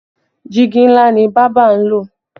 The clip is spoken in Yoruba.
Diigi ńlá ni bábà ń lò